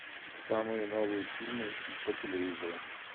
самые новые фильмы по телевизору